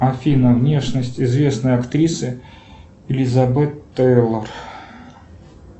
афина внешность известной актрисы элизабет тейлор